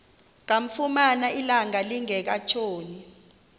kamfumana ilanga lingekatshoni